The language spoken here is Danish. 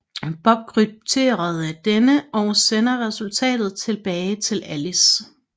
Bob krypterer denne og sender resultatet tilbage til Alice